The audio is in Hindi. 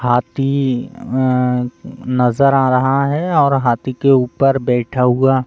हाथी अअं नजर आ रहा हैऔर हाथी के ऊपर बैठा हुआ --